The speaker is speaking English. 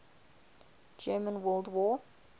german world war